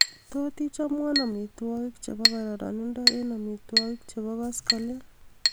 tot ichomwon omitwogik chebo kororonindo en omitwogik chebo koskolen